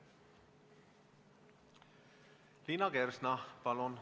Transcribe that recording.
Liina Kersna, palun!